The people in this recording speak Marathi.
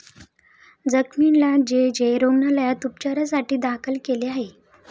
जखमींना जे. जे. रुग्णालयात उपचारासाठी दाखल केले आहे.